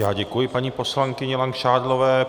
Já děkuji paní poslankyni Langšádlové.